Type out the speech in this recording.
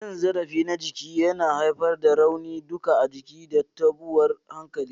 Cin zarafi na jiki yana haifar da rauni duka a jiki da tabuwan hankali.